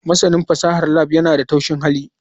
Masanin fasahar lab yana da taushin hali.